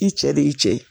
I cɛ de y'i cɛ ye